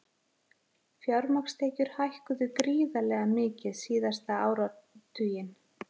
Fjármagnstekjur hækkuðu gríðarlega mikið síðasta áratuginn